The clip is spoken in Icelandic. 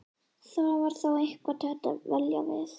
Það var þá eitthvað til að dvelja við.